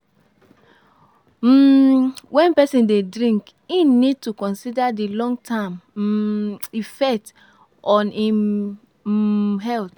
um When person dey drink im need to consider di long term um effect on im um health